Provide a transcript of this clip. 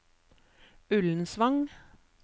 Ullensvang